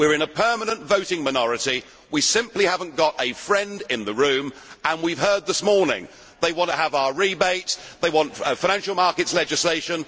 We are in a permanent voting minority, we simply have not got a friend in the room and we have heard this morning that they want to have our rebate, they want financial market legislation.